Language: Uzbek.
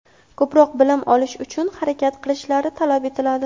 ko‘proq bilim olish uchun harakat qilishlari talab etiladi.